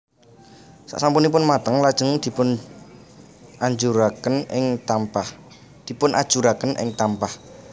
Sak sampunipun mateng lajeng dipunajuraken ing tampah